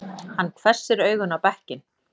Hann hvessir augun á bekkinn.